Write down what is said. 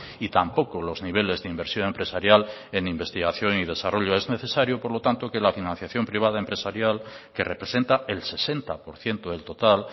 y tampoco los niveles de inversión empresarial en investigación y desarrollo es necesario por lo tanto que la financiación privada empresarial que representa el sesenta por ciento del total